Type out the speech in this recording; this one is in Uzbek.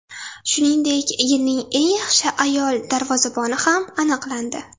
Shuningdek, yilning eng yaxshi ayol darvozaboni ham aniqlandi.